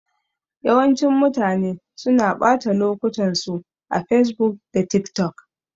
Yawancin mutanen suna ɓata lokutan su a facebook da tik tok